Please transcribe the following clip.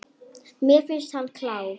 Mér finnst hann klár.